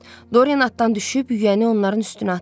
Doriyen atdan düşüb yüyəni onların üstünə atdı.